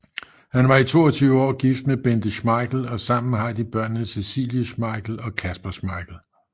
Han var i 22 år gift med Bente Schmeichel og sammen har de børnene Cecilie Schmeichel og Kasper Schmeichel